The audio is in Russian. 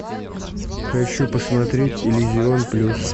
хочу посмотреть иллюзион плюс